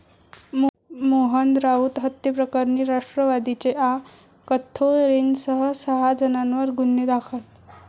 मोहन राऊत हत्येप्रकरणी राष्ट्रवादीचे आ.कथोरेंसह सहा जणांवर गुन्हे दाखल